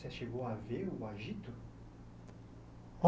Você chegou a ver o agito?